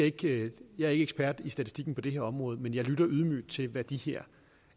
ikke ekspert i statistikken på det her område men jeg lytter ydmygt til hvad de her